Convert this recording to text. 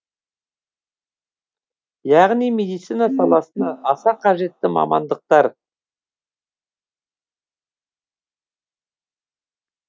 яғни медицина саласына аса қажетті мамандықтар